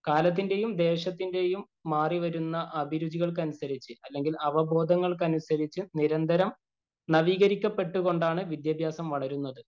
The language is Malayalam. കാലത്തിന്‍റെയും, ദേശത്തിന്‍റെയും മാറിവരുന്ന അഭിരുചികള്‍ക്കനുസരിച്ച് അല്ലെങ്കില്‍ അവബോധങ്ങള്‍ക്കനുസരിച്ച് നിരന്തരം നവീകരിക്കപ്പെട്ടു കൊണ്ടാണ് വിദ്യാഭ്യാസം വളരുന്നത്.